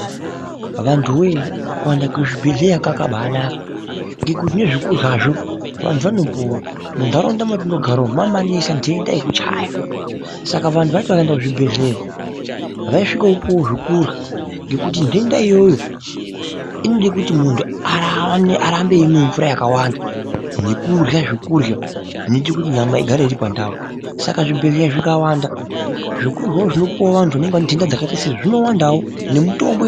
Vantu woye kuenda kuzvibhehleya kwakabainaka nezvekuryazvo vantu vanopuwa munharaunda matinogara umu maamanesa nhenda yekuchaya saka vanhu vaiti vakaenda kuzvibhehleya vaisvikopuwo zvokurya ngokuti ngekuti nhenda iyoyo inoda kuti munhu arambe weimwa mvura yakawanda nekurya zvekurya zvinoita kuti nyama igare iripandau saka zvibhehleya zvisawanda zvokuryawo zvinopuwa vantu vakawanda zvinowandawo nemitombo.